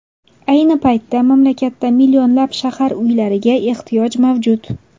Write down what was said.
Ayni paytda mamlakatda millionlab shahar uylariga ehtiyoj mavjud.